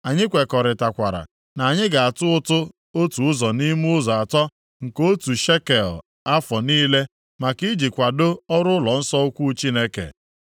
“Anyị kwekọrịtakwara na anyị ga-atụ ụtụ otu ụzọ nʼime ụzọ atọ nke otu shekel afọ niile maka iji kwadoo ọrụ ụlọnsọ ukwu Chineke,